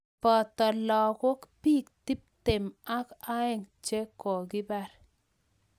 Poto logok biik tiptep ak aeng che kokibar.